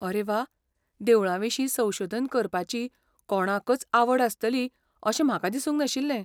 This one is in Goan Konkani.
अरे वा, देवळांविशीं संशोधन करपाची कोणाकच आवड आसतली अशें म्हाका दिसूंक नाशिल्लें.